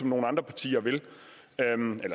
nogle andre partier